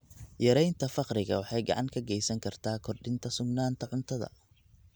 Yaraynta faqriga waxay gacan ka geysan kartaa kordhinta sugnaanta cuntada.